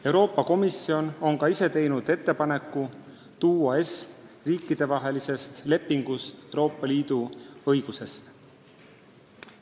Euroopa Komisjon on ka ise teinud ettepaneku tuua ESM riikidevahelistest lepingutest Euroopa Liidu õigusesse.